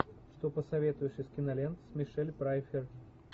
что посоветуешь из кинолент с мишель пфайффер